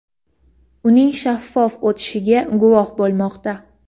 uning shaffof o‘tishiga guvoh bo‘lmoqda.